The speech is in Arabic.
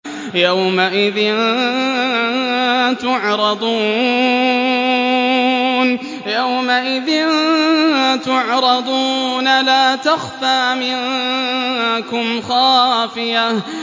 يَوْمَئِذٍ تُعْرَضُونَ لَا تَخْفَىٰ مِنكُمْ خَافِيَةٌ